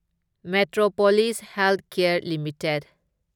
Metropolis healthcare limited